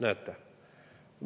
Näete!